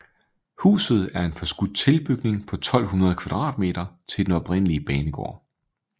Huset er en forskudt tilbygning på 1200 m² til den oprindelige banegård